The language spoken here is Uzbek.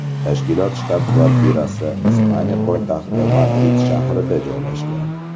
Tashkilot shtab-kvartirasi Ispaniya poytaxti Madrid shahrida joylashgan.